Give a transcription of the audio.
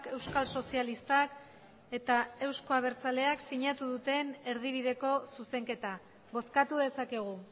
euskal sozialistak eta euzko abertzaleak sinatu duten erdibideko zuzenketa bozkatu dezakegu